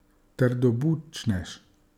Trdobučnež.